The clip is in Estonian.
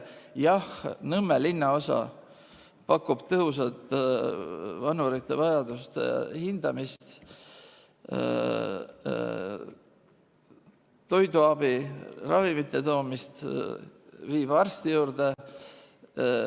Jah, Nõmme linnaosa pakub tõhusat vanurite vajaduste hindamist, toiduabi, ravimite toomist, viib arsti juurde.